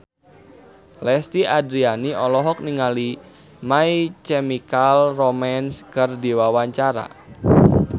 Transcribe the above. Lesti Andryani olohok ningali My Chemical Romance keur diwawancara